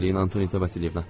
Rəhməli Antoniyeva.